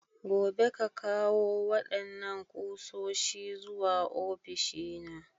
Gobe, ƙa ƙawo wadannan kusoshi zuwa ofishina!